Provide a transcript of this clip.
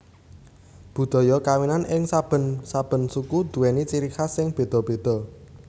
Budhaya kawinan ing saben saben suku duwèni ciri khas sing bedha bedha